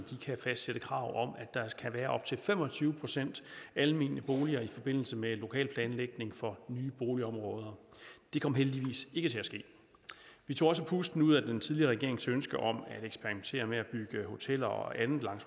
kan fastsætte krav om at der skal være op til fem og tyve procent almene boliger i forbindelse med lokalplanlægningen for nye boligområder det kom heldigvis ikke til at ske vi tog også pusten ud af den tidligere regerings ønske om at eksperimentere med at bygge hoteller og andet langs